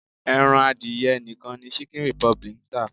Ẹran adìyẹ nìkan ni Chicken Republic ń tà.